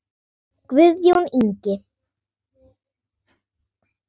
Guðjón Ingi.